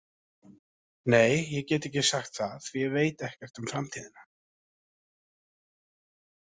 Nei, ég get ekki sagt það því að ég veit ekkert um framtíðina.